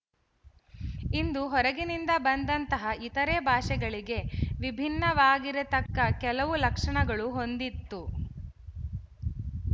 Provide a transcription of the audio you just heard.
ಇದು ಹೊರಗಿನಿಂದ ಬಂದಂತಹ ಇತರೆ ಭಾಷೆಗಳಿಗೆ ವಿಭಿನ್ನವಾಗಿರತಕ್ಕ ಕೆಲವು ಲಕ್ಷಣಗಳು ಹೊಂದಿತ್ತು